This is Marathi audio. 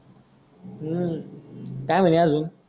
हु काय मन्हे आजून.